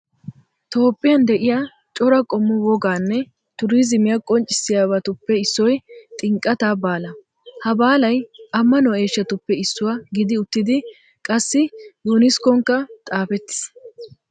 Toophphiyan de'iyaa cora qommo wogaanne tuurizimiyaa qoncciyasabatuppe issoyi xinqqataa baalaa. Ha baalayi ammaanuwaa eeshshatuppe issuwaa gidi uttidi qassi yuuniskkonkkankka xaapettis.